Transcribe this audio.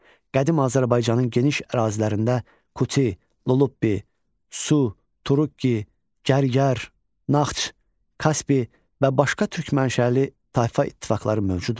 Qədim Azərbaycanın geniş ərazilərində Kuti, Lullubi, Su, Turukki, Gərgər, Naxç, Kaspi və başqa türk mənşəli tayfa ittifaqları mövcud olmuşdur.